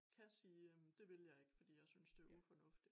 Kan sige øh det vil jeg ikke fordi jeg synes det er ufornuftigt